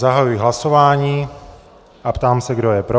Zahajuji hlasování a ptám se, kdo je pro.